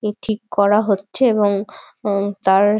এ ঠিক করা হচ্ছে এবং উম তার--